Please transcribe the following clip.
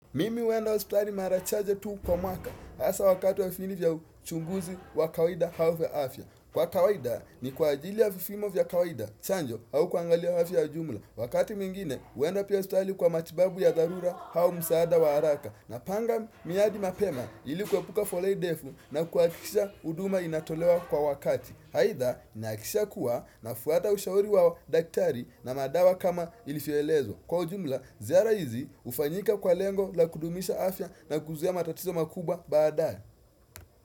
Mimi huenda hosipitali mara chache tu kwa mwaka hasa wakati wa vifini vya uchunguzi wa kawaida au vya afya kwa kawida ni kwa ajili ya vipimo vya kawaida chanjo au kuangalia afya ujumla wakati mwingine huenda pia hosipitali kwa matibabu ya dharura au msaada wa haraka napanga miadi mapema ili kupuka foleni ndefu na kuhakikisha huduma inatolewa kwa wakati aidha nahakikisha kuwa nafuata ushauri wa daktari na madawa kama ilivyoelezwa Kwa jumla, ziara hizi hufanyika kwa lengo la kudumisha afya na kuzuia matatizo makubwa baadae.